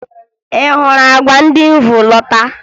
Ị hụrụ àgwà ndị m bu lọta?